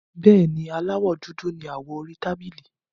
Bẹ́ẹ̀ni, Aláwọ́ dúdú ni awọ orí tábìlì.